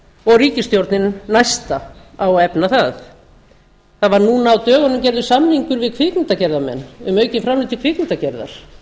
og ríkisstjórnin næsta á að efna það það var núna á dögunum gerður samningur við kvikmyndagerðarmenn um aukin framlög til kvikmyndagerðar